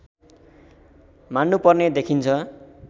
मान्नुपर्ने देखिन्छ